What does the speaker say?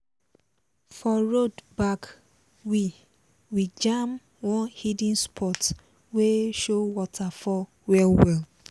for road back we we jam one hidden spot wey show waterfall well-well.